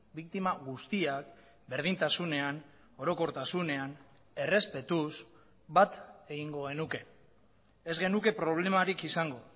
biktima guztiak berdintasunean orokortasunean errespetuz bat egingo genuke ez genuke problemarik izango